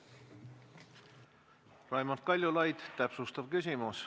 Raimond Kaljulaid, täpsustav küsimus.